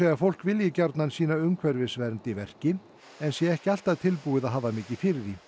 fólk vilji gjarnan sýna umhverfisvernd í verki en sé ekki alltaf tilbúið að hafa mikið fyrir því